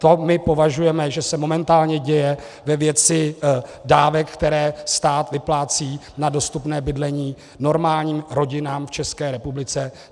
To my považujeme, že se momentálně děje ve věci dávek, které stát vyplácí na dostupné bydlení normálním rodinám v České republice.